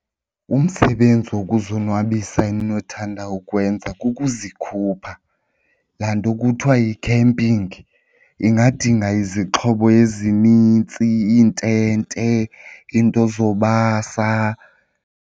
Umsebenzi wokuzonwabisa endinothanda ukuwenza kukuzikhupha, laa nto kuthiwa yi-camping. Ingadinga izixhobo ezinintsi iintente, iinto zobasa.